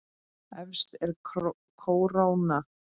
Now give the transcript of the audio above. Efst er kóróna.